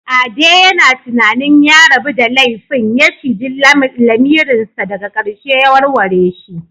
Ade yana tunanin ya rabu da laifin ya ciji lamirinsa daga ƙarshe ya warware shi.